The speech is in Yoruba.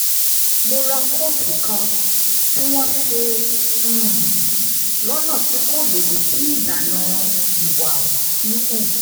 mo ra kóòtù kan tí wọ́n ṣe um lọ́nà tí kò lòdì sí ìlànà ìwà híhù